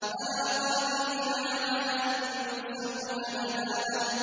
بَلَىٰ قَادِرِينَ عَلَىٰ أَن نُّسَوِّيَ بَنَانَهُ